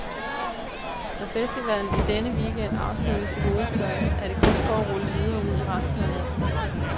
Når festivalen i denne weekend afsluttes i hovedstaden, er det kun for at rulle videre ud i resten af landet.